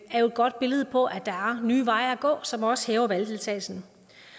er jo et godt billede på at der er nye veje at gå som også hæver valgdeltagelsen